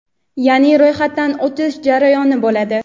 yaʼni ro‘yxatdan o‘tish jarayoni bo‘ladi.